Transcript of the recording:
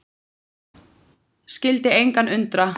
Skyldi engan undra.